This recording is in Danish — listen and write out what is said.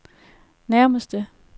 nærmeste